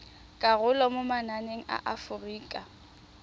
karolo mo mananeng a aforika